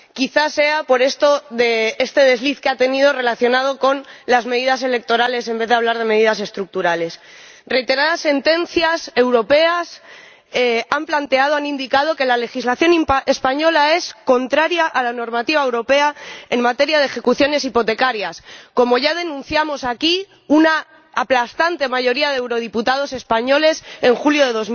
Quizás sea por esto que ha tenido este desliz relacionado con las medidas electorales en vez de hablar de medidas estructurales. Reiteradas sentencias europeas han indicado que la legislación española es contraria a la normativa europea en materia de ejecuciones hipotecarias, como ya denunciamos aquí una aplastante mayoría de eurodiputados españoles en julio de